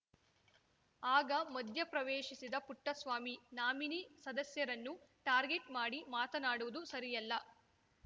ಆಗ ಮಧ್ಯ ಪ್ರವೇಶಿಸಿದ ಪುಟ್ಟಸ್ವಾಮಿ ನಾಮಿನಿ ಸದಸ್ಯರನ್ನು ಟಾರ್ಗೆಟ್‌ ಮಾಡಿ ಮಾತನಾಡುವುದು ಸರಿಯಲ್ಲ